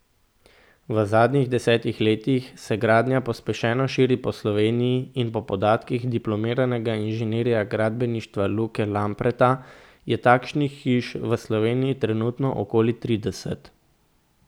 V zadnjih desetih letih se gradnja pospešeno širi po Sloveniji in po podatkih diplomiranega inženirja gradbeništva Luke Lampreta je takšnih hiš v Sloveniji trenutno okoli trideset.